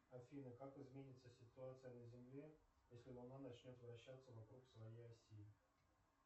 афина как изменится ситуация на земле если луна начнет вращаться вокруг своей оси